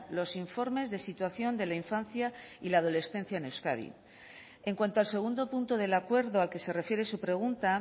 los informes de situación de la infancia y la adolescencia en euskadi en cuanto al segundo punto del acuerdo al que se refiere su pregunta